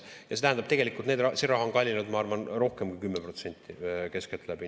Ja see tähendab, et see raha on kallinenud, ma arvan, rohkem kui 10% keskeltläbi.